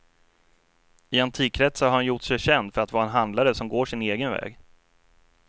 I antikkretsar har han gjort sig känd för att vara en handlare som går sin egen väg.